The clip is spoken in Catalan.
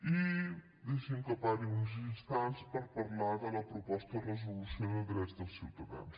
i deixi’m que pari uns instants per parlar de la proposta de resolució de drets dels ciutadans